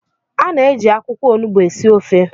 A na-eji akwụkwọ onugbu esi ofe